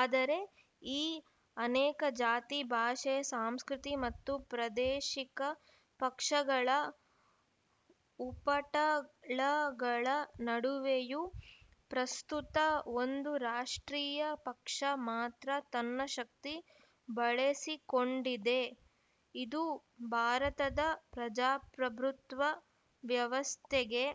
ಆದರೆ ಈ ಅನೇಕ ಜಾತಿ ಭಾಷೆ ಸಾಂಸ್ಕೃತಿ ಮತ್ತು ಪ್ರಾದೇಶಿಕ ಪಕ್ಷಗಳ ಉಪಟಳಗಳ ನಡುವೆಯೂ ಪ್ರಸ್ತುತ ಒಂದು ರಾಷ್ಟ್ರೀಯ ಪಕ್ಷ ಮಾತ್ರ ತನ್ನ ಶಕ್ತಿ ಬಳೆಸಿಕೊಂಡಿದೆ ಇದು ಭಾರತದ ಪ್ರಜಾಪ್ರಭುತ್ವ ವ್ಯವಸ್ಥೆಗೆ